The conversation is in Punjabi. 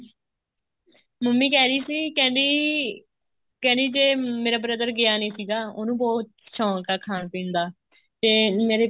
ਮੰਮੀ ਕਹਿ ਰਹੀ ਸੀ ਕਹਿੰਦੀ ਕਹਿੰਦੀ ਜ਼ੇ ਮੇਰਾ brother ਗਿਆ ਨੀ ਸੀਗਾ ਉਹਨੂੰ ਬਹੁਤ ਸ਼ੋਂਕ ਹਾ ਖਾਣ ਪੀਣ ਦਾ ਮੇਰੀ